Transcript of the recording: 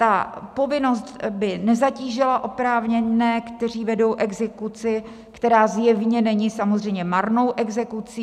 Ta povinnost by nezatížila oprávněné, kteří vedou exekuci, která zjevně není samozřejmě marnou exekucí.